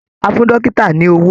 A fún dọ́kítà ní owó.